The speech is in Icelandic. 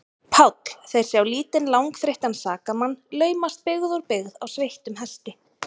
PÁLL: Þeir sjá lítinn, langþreyttan sakamann laumast byggð úr byggð á sveittum hesti.